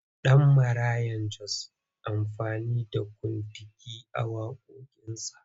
Danmaraya Jos na amfani da kuntigi a waƙoƙinsa.